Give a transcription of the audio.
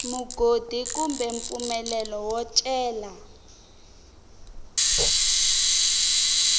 mugodi kumbe mpfumelelo wo cela